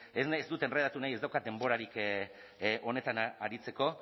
que es dut enredatu nahi ez daukat denborarik honetan aritzeko